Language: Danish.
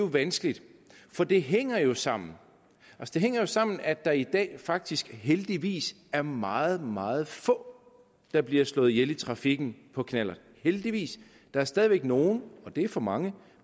vanskeligt for det hænger jo sammen det hænger jo sammen at der i dag faktisk heldigvis er meget meget få der bliver slået ihjel i trafikken på knallert heldigvis der er stadig væk nogle og det er for mange